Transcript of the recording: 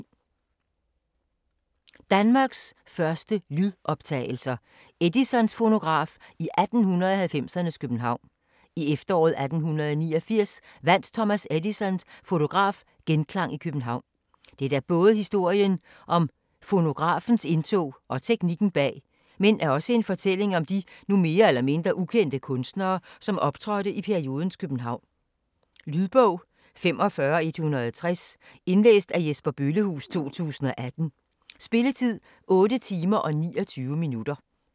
Danmarks første lydoptagelser: Edisons fonograf i 1890'ernes København I efteråret 1889 vandt Thomas Edisons fonograf genklang i København. Dette er både historien om fonografens indtog og teknikken bag, men er også en fortælling om de nu mere eller mindre ukendte kunstnere som optrådte i periodens København. Lydbog 45160 Indlæst af Jesper Bøllehuus, 2018. Spilletid: 8 timer, 29 minutter.